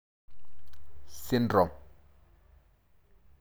Syndrome.